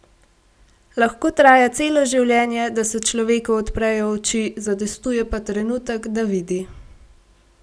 Lahko traja celo življenje, da se človeku odprejo oči, zadostuje pa trenutek, da vidi.